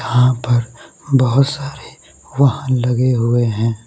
यहां पर बहोत सारे वाहन लगे हुए हैं।